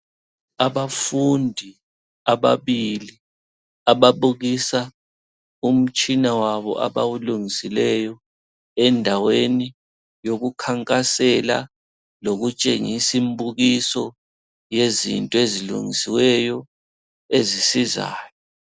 Abafundi ababili ababukisa umtshina wabo abawulungisileyo endaweni yokukhankasela lokutshengisa imbukiso yezinto ezilungisiweyo ezisizayo.